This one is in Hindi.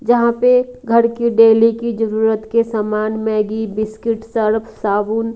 यहाँ पे घर की डेली की जरूरत के सामान मैगी बिस्किट सर्फ साबुन--